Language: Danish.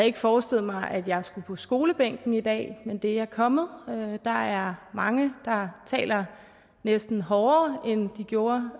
ikke forestillet mig at jeg skulle på skolebænken i dag men det er jeg kommet der er mange der taler næsten hårdere end de gjorde